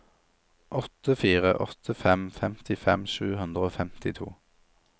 åtte fire åtte fem femtifem sju hundre og femtito